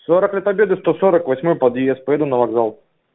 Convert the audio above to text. сорок лет победы сто сорок восьмой подъезд поеду на вокзал